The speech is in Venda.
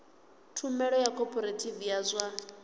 tshumelo ya khophorethivi ya zwa